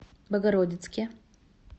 богородицке